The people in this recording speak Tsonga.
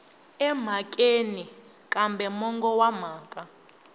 emhakeni kambe mongo wa mhaka